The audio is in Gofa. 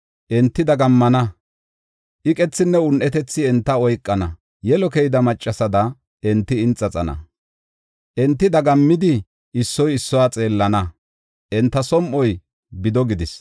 Enti dagammana; iqethinne un7etethi enta oykana. Yelo keyida maccasada enti inxaxana. Enti dagammidi issoy issuwa xeellana; enta som7oy bido gidis.